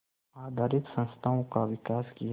आधारित संस्थाओं का विकास किया